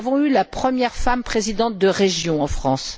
Nous avons eu la première femme présidente de région en France.